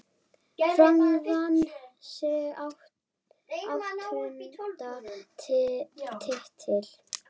Fram vann sinn áttunda titil.